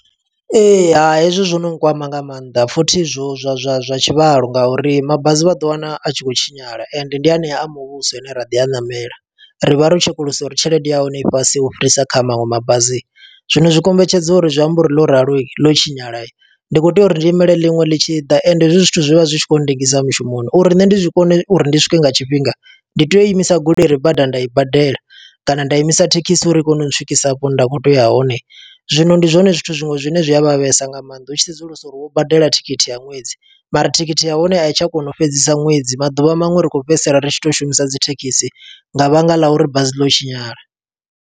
Ee, hai hezwi zwo no kwama nga maanḓa, futhi zwo zwa zwa zwa tshivhalo nga uri mabasi vha ḓo wana, a tshi khou tshinyala. Ende ndi hanea a muvhuso ane ra ḓi a ṋamela, ri vha ro tshekulusa uri tshelede ya hone i fhasi u fhirisa kha maṅwe mabazi. Zwino zwi kombetshedza uri zwi amba uri ḽo ralo ḽo tshinyala. Ndi khou tea uri ndi imele ḽinwe ḽi tshi ḓa, ende hezwi zwithu zwi vha zwi tshi khou ndengisa mushumoni. Uri nṋe ndi zwi kone uri ndi swike nga tshifhinga, ndi tea u imisa goloi ire badani nda i badela, kana nda imisa thekhisi uri i kone u swikisa hafho hune nda khou tea uya hone. Zwino ndi zwone zwithu zwiṅwe zwine zwi a vhavhesa nga maanḓa, u tshi sedzulusa uri wo badela thikhithi ya ṅwedzi. Mara thikhithi ya hone a i tsha kona u fhedzisa ṅwedzi, maḓuvha maṅwe ri khou fhedzisela ri tshi to u shumisa dzi thekhisi, nga vhanga ḽa uri basi ḽo tshinyala.